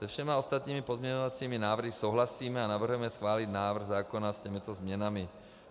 Se všemi ostatními pozměňovacími návrhy souhlasíme a navrhujeme schválit návrh zákona s těmito změnami.